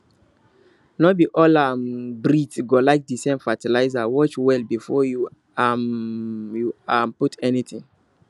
no be all um breed go like the same fertiliserwatch well before um you um put anything